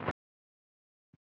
Já, hann gerir það